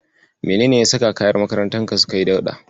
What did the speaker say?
Menene ya saka kayan makarantarka suka yi dauɗa?